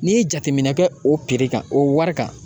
N'i ye jateminɛ kɛ o piri kan o wari kan.